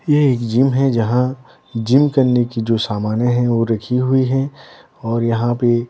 ये एक जिम है जहाँ जिम करने की जो सामाने हैं वो रखी हुई हैं और यहाँ पे--